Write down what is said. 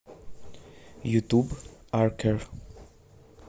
ютуб аркер